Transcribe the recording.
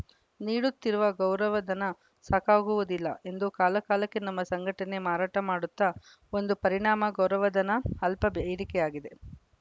ನೀಡುತ್ತಿರುವ ಗೌರವಧನ ಸಾಕಾಗುವುದಿಲ್ಲ ಎಂದು ಕಾಲ ಕಾಲಕ್ಕೆ ನಮ್ಮ ಸಂಘಟನೆ ಮಾರಾಟ ಮಾಡುತ್ತಾ ಒಂದು ಪರಿಣಾಮ ಗೌರವಧನ ಅಲ್ಪ ಬ್ಏರಿಕೆಯಾಗಿದೆ